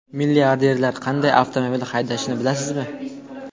Milliarderlar qanday avtomobil haydashini bilasizmi?